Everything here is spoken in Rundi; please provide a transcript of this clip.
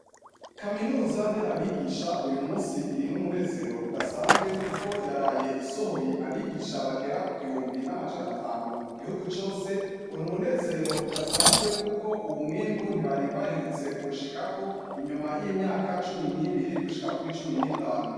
Kaminuza nderabigisha uy'umunsi iri n'umunezero udasanzwe, kuko yaraye isohoye abigisha bagera ku gihumbi n'amajana atanu, mu gihugu cose. Ngo n'umunezero udasanzwe kuko uwo mwimbu ntibari baherutse kuwushikako inyuma y'imyaka cumi n'ibiri gushika kuri cumi n'itanu.